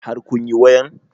Har kun yi wayan?